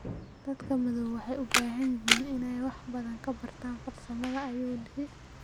Dadka madow waxay u baahan yihiin inay wax badan ka bartaan farsamada, ayuu yidhi.